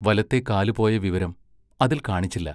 വലത്തെ കാലുപോയ വിവരം അതിൽ കാണിച്ചില്ല.